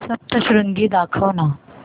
सप्तशृंगी दाखव ना